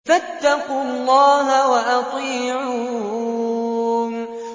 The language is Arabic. فَاتَّقُوا اللَّهَ وَأَطِيعُونِ